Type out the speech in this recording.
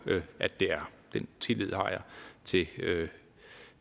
at det er den tillid har jeg